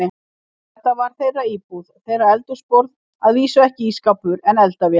Þetta var þeirra íbúð, þeirra eldhúsborð, að vísu ekki ísskápur, en eldavél.